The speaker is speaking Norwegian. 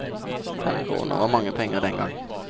Fem kroner var mange penger den gang.